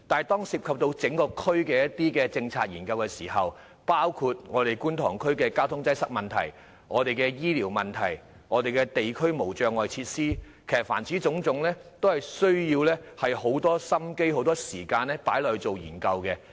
當涉及整個地區的政策研究時，有關事宜包括觀塘區的交通擠塞問題、醫療服務問題及地區無障礙設施等，各項事宜均需要很多心思和時間進行研究。